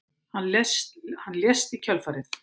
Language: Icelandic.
Hann lést í kjölfarið